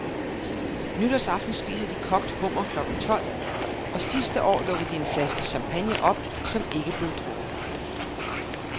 Nytårsaften spiser de kogt hummer klokken tolv, og sidste år lukkede de en flaske champagne op, som ikke blev drukket.